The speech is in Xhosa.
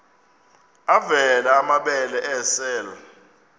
avela amabele esel